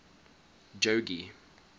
jogee